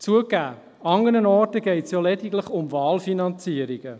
Zugegeben, an anderen Orten geht es lediglich um Wahlfinanzierungen.